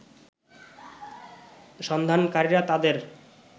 সন্ধানকারীরা তাদের